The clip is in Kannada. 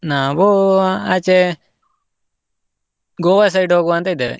ನಾವು ಆಚೆ Goa side ಹೋಗ್ವಾ ಅಂತ ಇದ್ದೇವೆ.